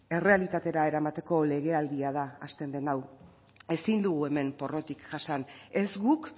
errealitatera eramateko legealdia da hasten den hau ezin dugu hemen porrotik jasan ez guk